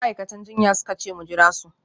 Ma’aikatan jinya suka ce mu jira su